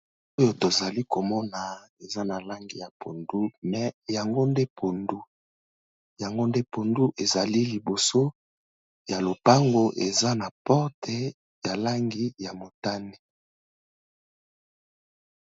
Oyo tozali komona eza na langi ya pondu, me yango nde pondu. Yango nde pondu, ezali liboso ya lopango eza na porte ya langi ya motane.